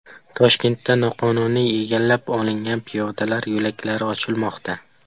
Toshkentda noqonuniy egallab olingan piyodalar yo‘laklari ochilmoqda .